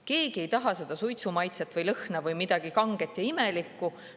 Keegi ei taha seda suitsumaitset või ‑lõhna või midagi kanget ja imelikku.